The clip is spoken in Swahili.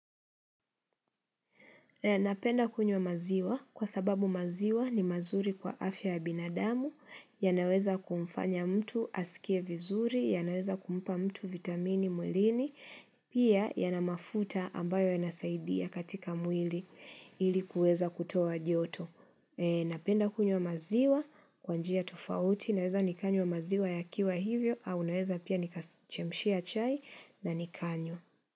Napenda kunywa maziwa kwa sababu maziwa ni mazuri kwa afya ya binadamu, yanaweza kumfanya mtu asikie vizuri, yanaweza kumpa mtu vitamini mwilini, pia yana mafuta ambayo ya nasaidia katika mwili ili kuweza kutoa joto. Napenda kunywa maziwa kwa njia tofauti, naweza nikanywa maziwa yakiwa hivyo, au naweza pia nikachemshia chai na nikanywa.